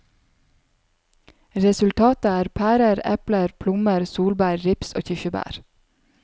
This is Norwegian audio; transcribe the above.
Resultatet er pærer, epler, plommer, solbær, rips og kirsebær.